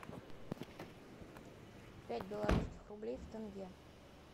пять белорусских рублей в тенге